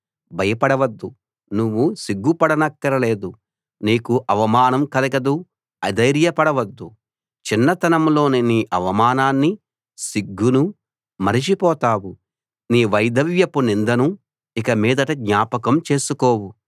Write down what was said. భయపడవద్దు నువ్వు సిగ్గు పడనక్కరలేదు నీకు అవమానం కలగదు అధైర్య పడవద్దు చిన్నతనంలోని నీ అవమానాన్నీ సిగ్గునూ మరచిపోతావు నీ వైధవ్యపు నిందను ఇకమీదట జ్ఞాపకం చేసుకోవు